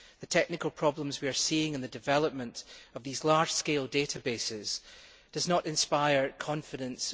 The technical problems we are seeing, and the development of these large scale databases, do not inspire wider confidence.